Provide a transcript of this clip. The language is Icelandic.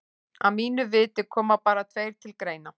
Að mínu viti koma bara tveir til greina.